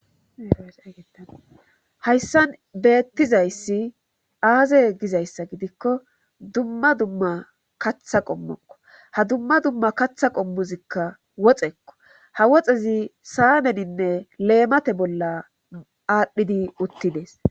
hayssan beettizayssi aaze gizayssa gidikko dumma dumma katha qommokko ha dumma dumma katha qommuzikka woxekko ha woxezi saanedinne leemate bolla aadhdhidi uttides.